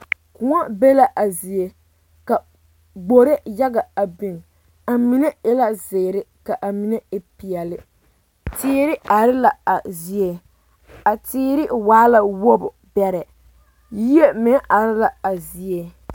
Koɔ be la a zie ka gbori yaga a biŋ a mine e la zeere ka a mine e peɛlle teere are la a zie a teere waa la wogi bɛrɛ yie meŋ are la a zie.